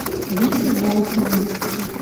вите волкову